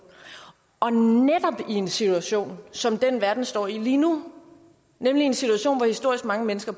og netop i en situation som den verden står i lige nu nemlig en situation hvor historisk mange mennesker